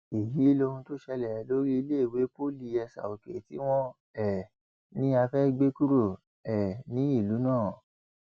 èyí lohun tó ṣẹlẹ lórí iléèwé poli esaòkè tí wọn um ní a fẹẹ gbé kúrò um nílùú náà